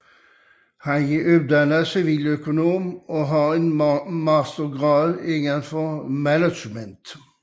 Han er uddannet civiløkonom og har enmastergrad indenfor management